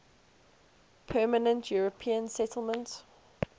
permanent european settlement